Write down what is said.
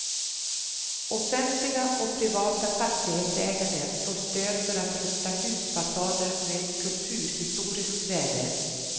Offentliga och privata fastighetsägare får stöd för att rusta husfasader med kulturhistoriskt värde.